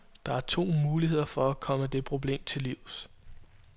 Der er to muligheder for at komme det problem til livs.